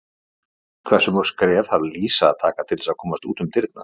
Hversu mörg skref þarf Lísa að taka til þess að komast út um dyrnar?